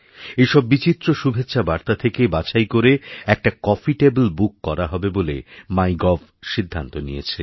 এই সব বিচিত্র শুভেচ্ছাবার্তা থেকে বাছাই করে একটাকফি টেবিল বুক করা হবে বলে মাইগভ সিদ্ধান্ত নিয়েছে